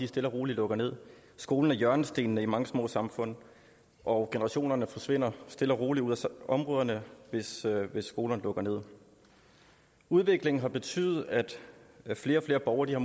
stille og roligt lukker skolen er hjørnestenen i mange små samfund og generationerne forsvinder stille og roligt ud af områderne hvis skolerne lukker udviklingen har betydet at flere og flere borgere